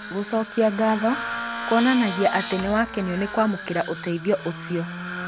gũchokia ngatho kũonanagia atĩ nĩwakenio nĩ kwamũkĩra ũteithio ũcio